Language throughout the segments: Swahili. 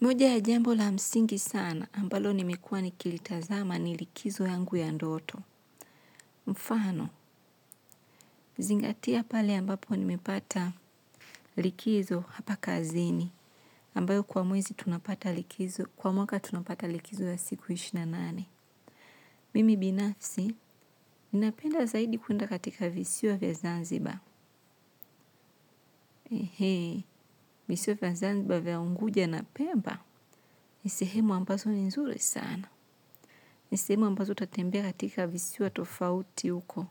Moja ya jambov la msingi sana ambalo nimekuwa nikilitazama ni likizo yangu ya ndoto. Mfano, zingatia pale ambapo nimepata likizo hapa kazini. Ambayo kwa mwezi tunapata likizo, kwa mwaka tunapata likizo ya siku ishirini na nane. Mimi binafsi, ninapenda zaidi kuenda katika visiwa vya Zanzibar. Visiwa vya Zanzibar vya Unguja na Pemba, ni sehemu ambazo ni nzuri sana. Ni sehemu ambazo utatembea katika visiwa tofauti huko,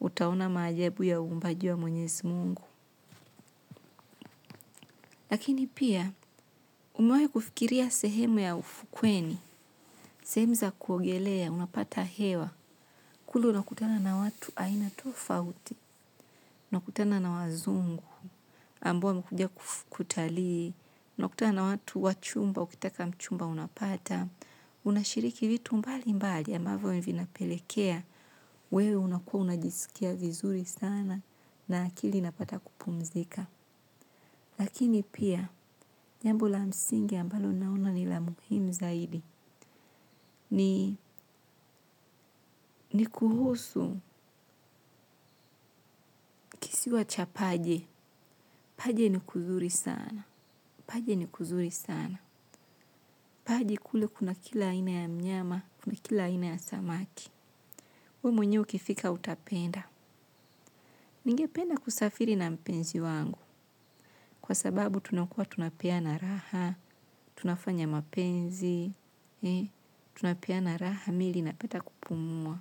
utaona maajabu ya uumbaji wa mwenyezi Mungu. Lakini pia, umewahi kufikiria sehemu ya ufukweni, sehemu za kuogelea, unapata hewa, kule unakutana na watu aina tofauti, unakutana na wazungu, ambao wamekuja kutalii, unakutana watu wachumba, ukitaka mchumba unapata, unashiriki vitu mbalimbali ambavyo vinapelekea, wewe unakuwa unajisikia vizuri sana na akili inapata kupumzika. Lakini pia jambo la msingi ambalo naona ni la muhimu zaidi. Ni kuhusu kisiwa cha paje. Paje ni kuzuri sana. Paje ni kuzuri sana. Paje kule kuna kila aina ya mnyama, kuna kila aina ya samaki. Wewe mwenyewe ukifika utapenda. Ningependa kusafiri na mpenzi wangu. Kwa sababu tunakuwa tunapeana raha, tunafanya mapenzi, tunapeana raha mingi napenda kupumua.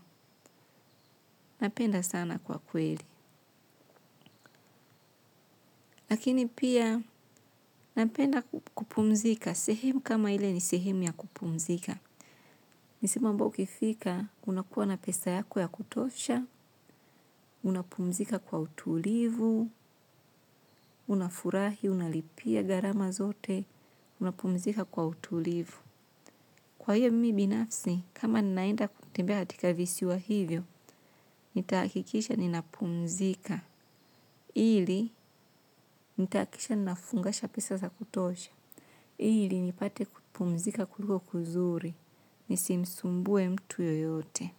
Napenda sana kwa kweli. Lakini pia, napenda kupumzika. Sehemu kama ile ni sehemu ya kupumzika. Ni sehemu ambao ukifika, unakuwa na pesa yako ya kutosha, unapumzika kwa utulivu, unafurahi, unalipia gharama zote, unapumzika kwa utulivu. Kwa hiyo mimi binafsi, kama ninaenda kutembea katika visiwa hivyo, nitahakikisha ninapumzika. Ili, nitahakikisha nafungasha pesa za kutosha. Ili, nipate kupumzika kuliko kuzuri. Nisimsumbue mtu yoyote.